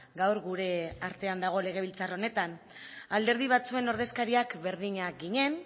gaur gure artean dago legebiltzar honetan alderdi batzuen ordezkariak berdinak ginen